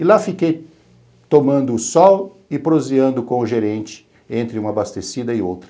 E lá fiquei, tomando o sol e proseando com o gerente, entre uma abastecida e outra.